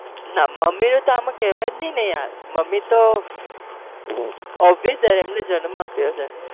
નાં મમ્મી ને તો કેવાય જ નહી ને યાર મમ્મી તો obviously એમને જન્મ આપ્યો છે,